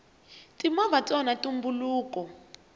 timovha ti onha ntumbuluko